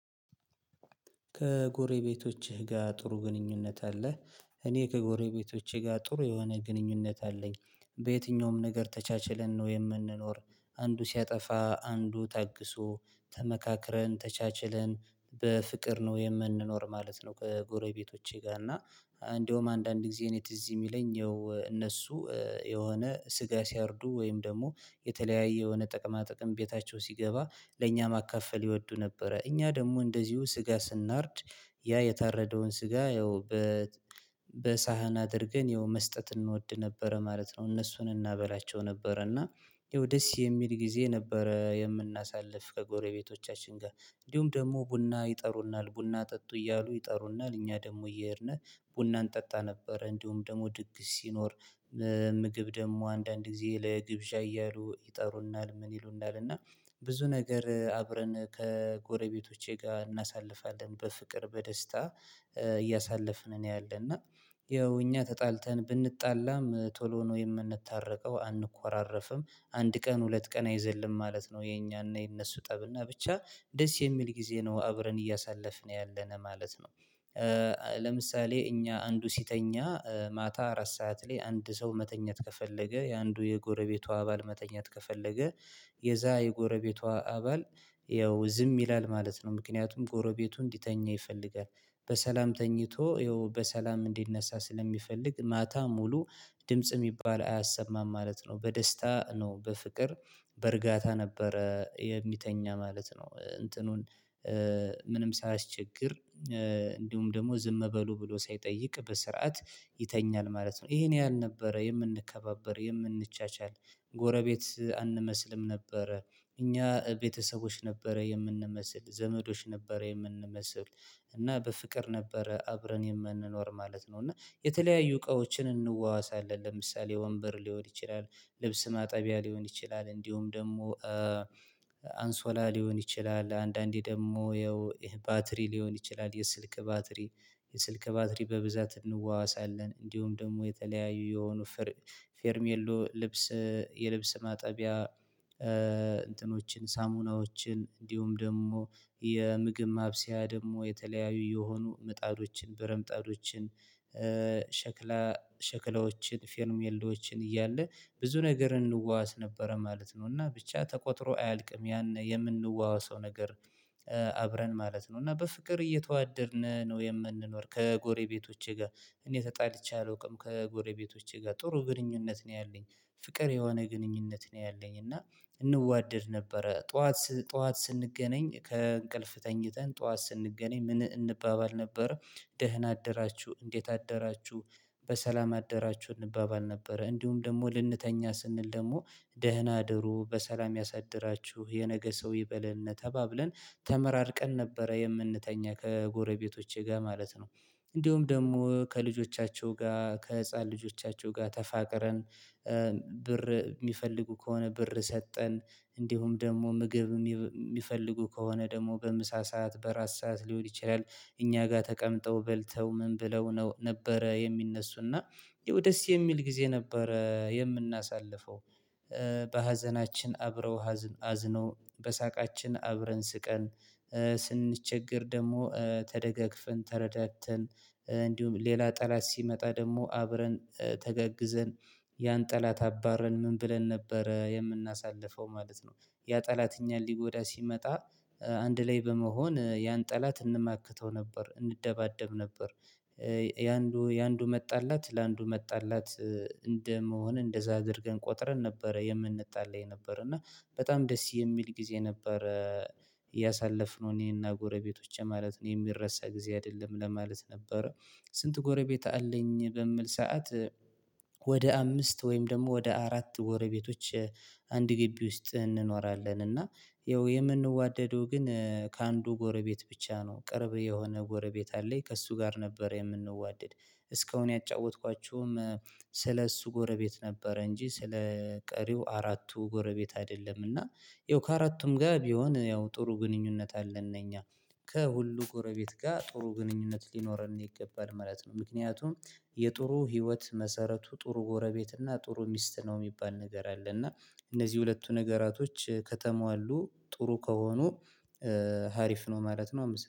ከጎረቤቶችህ ጋር ጥሩ ግንኙነት አለህ? እኔ ከጎረቤቶቼ ጋር ጥሩ የሆነ ግንኙነት አለኝ። በየትኛውም ነገር ተቻችለን ነው የምንኖር አንዱ ሲያጠፋ አንዱ ታግሶ ተመካክረን ተቻችለን በፍቅር ነው የምንኖር ማለት ነው። ከጎረቤቶቼ ጋር እና እንደውም አንዳንድ ጊዜ እኔ ትዝ የሚለኝ እነሱ የሆነ ስጋ ሲያርዱ ወይም ደግሞ የተለያየ የሆነ ጥቅማ ጥቅም ቤታቸው ሲገባ ለእኛ ማካፈል ይወዱ ነበረ እኛ ደግሞ እንደዚሁ ስጋ ስናርድ ያ የታረደውን ስጋ ያው በሳህን አድርገን ያው መስጠት እንወድ ነበረ ማለት ነው። እነሱን እናበላቸው ነበረ እና ይኸው ደስ የሚል ጊዜ ነበረ የምናሳልፍ ከጎረቤቶቻችን ጋር። እንዲሁም ደግሞ ቡና ይጠሩናል ቡና ጠጡ እያሉ ይጠሩናል እኛ ደግሞ እየሄድነህ ቡናን ጠጣ ነበር እንዲሁም ደግሞ ድግስ ሲኖር። ምግብ ደግሞ አንዳንድ ጊዜ ለግብዣ እያሉ ይጠሩናል ምን ይሉናል እና? ብዙ ነገር አብረን ከጎረቤቶቼ ጋር እናሳልፋለን በፍቅር በደስታ። እያሳለፍን እኔ አለ እና ያው እኛ ተጣልተን ብንጣላም ቶሎ ነው የምንታረቀው አንኮራረፍም አንድ ቀን ሁለት ቀን አይዘልም ማለት ነው የኛና የነሱ ጠብና ብቻ ደስ የሚል ጊዜ ነው አብረን እያሳለፍን ያለነ ማለት ነው። ለምሳሌ እኛ አንዱ ሲተኛ ማታ አራት ሰዓት ላይ አንድ ሰው መተኛት ከፈለገ የአንዱ የጎረቤቱ አባል መተኛት ከፈለገ የዛ የጎረቤቷ አባል ያው ዝም ይላል ማለት ነው ምክንያቱም ጎረቤቱ እንዲተኛ ይፈልጋል። በሰላም ተኝቶ ይኸው በሰላም እንዲነሳ ስለሚፈልግ ማታ ሙሉ ድምጽ የሚባል አያሰማም ማለት ነው። በደስታ ነው በፍቅር በእርግጠኝነት ነበረ የሚተኛ ማለት ነው። እንትኑን ምንም ሳያስቸግር እንዲሁም ደግሞ ዝም በሉ ብሎ ሳይጠይቅ በስርዓት ይተኛል ማለት ነው። ይሄን ያህል ነበረ የምንከባበር የምንቻቻል ጎረቤት አንመስልም ነበረ። እኛ ቤተሰቦች ነበረ የምንመስል ዘመዶች ነበረ የምንመስል እና በፍቅር ነበረ አብረን የምንኖር ማለት ነው። እና የተለያዩ እቃዎችን እንዋዋሳለን ለምሳሌ ወንበር ሊሆን ይችላል ልብስ ማጠቢያ ሊሆን ይችላል እንዲሁም ደግሞ አንሶላ ሊሆን ይችላል አንዳንዴ ደግሞ ይኸው ባትሪ ሊሆን ይችላል። የስልክ ባትሪ የስልክ ባትሪ በብዛት እንዋዋሳለን። እንዲሁም ደግሞ የተለያዩ የሆኑ ፌርሜሎ ልብስ የልብስ ማጠቢያ እንትኖችን ሳሙናዎችን እንዲሁም ደግሞ የምግብ ማብሰያ ደግሞ የተለያዩ የሆኑ ምጣዶችን በረምጣዶችን ሸክላ ሸክላዎችን ፌርሜሎዎችን እያለ ብዙ ነገር እንዋዋስ ነበረ ማለት ነው። እና ብቻ ተቆጥሮ አያልቅም ያን የምንዋዋሰው ነገር። አብረን ማለት ነው እና በፍቅር እየተዋደርን ነው የምንኖር ከጎሬቤቶቼ ጋር። እኔ ተጣልቼ አላውቅም ከጎሬቤቶቼ ጋር ጥሩ ግንኙነት ነው ያለኝ። ፍቅር የሆነ ግንኙነት ነው ያለኝ። እና እንዋደድ ነበረ ጠዋት ጠዋት ስንገናኝ ከእንቅልፍ ተኝተን ጠዋት ስንገናኝ ምን እንባባል ነበረ? ደህና አደራችሁ እንዴት አደራችሁ? በሰላም አደራችሁ እንባባል ነበረ እንዲሁም ደግሞ ልንተኛ ስንል ደግሞ ደህና አድሮ በሰላም ያሳድራችሁ የነገ ሰው ይበልን ተባብለን ተመራርቀን ነበረ የምንተኛ ከጎረቤቶቼ ጋር ማለት ነው። እንዲሁም ደግሞ ከልጆቻቸው ጋር ከህፃን ልጆቻቸው ጋር ተፋቅረን። ብር የሚፈልጉ ከሆነ ብር ሰጠን እንዲሁም ደግሞ ምግብም የሚፈልጉ ከሆነ ደግሞ በምሳ ሰዓት በራት ሰዓት ሊሆን ይችላል። እኛ ጋር ተቀምጠው በልተው ምን ብለው ነው ነበረ የሚነሱና? ያው ደስ የሚል ጊዜ ነበረ የምናሳልፈው። በሀዘናችን አብረው አዝኖ በሳቃችን አብረን ስቀን። ስንቸገር ደግሞ ተደጋግፈን ተረዳተን። እንዲሁም ሌላ ጠላት ሲመጣ ደግሞ አብረን ተገግዘን። ያን ጠላት አባረን ምን ብለን ነበረ የምናሳልፈው ማለት ነው። ያ ጠላት ሊጎዳ ሲመጣ አንድ ላይ በመሆን ያን ጠላት እንማክተው ነበር እንደባደብ ነበር። የአንዱ የአንዱ መጣላት ለአንዱ መጣላት እንደመሆን እንደዛ አድርገን ቆጥረን ነበረ የምንጣለው የነበረ እና። በጣም ደስ የሚል ጊዜ ነበረ። ያሳለፍነው እኔና ጎረቤቶቼ ማለት ነው የሚረሳ ጊዜ አይደለም ለማለት ነበር። ስንት ጎረቤት አለኝ በምል ሰዓት? ወደ አምስት ወይም ደግሞ ወደ አራት ጎረቤቶች አንድ ግቢ ውስጥ እንኖራለን እና። ይኸው የምንዋደደው ግን ከአንዱ ጎረቤት ብቻ ነው ቅርብ የሆነ ጎረቤት አለኝ ከእሱ ጋር ነበር የምንዋደድ። እስካሁን ያጫወትኳችሁም ስለእሱ ጎረቤት ነበረ እንጂ ስለ ቀሪው አራቱ ጎረቤት አይደለም እና። ይኸው ከአራቱም ጋር ቢሆን ያው ጥሩ ግንኙነት አለን እኛ። ከሁሉ ጎረቤት ጋር ጥሩ ግንኙነት ሊኖረን ይገባል ማለት ነው። ምክንያቱም የጥሩ ህይወት መሰረቱ ጥሩ ጎረቤት እና ጥሩ ሚስት ነው የሚባል ነገር አለ እና። እነዚህ ሁለቱ ነገራቶች ከተሟሉ ጥሩ ከሆኑ ሀሪፍ ነው ማለት ነው